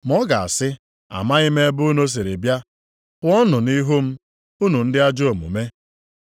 “Ma ọ ga-asị, ‘Amaghị m ebe unu siri bịa. Pụọnụ nʼihu m, unu ndị ajọ omume.’